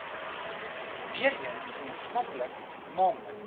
weereens gemeenskaplik naamlik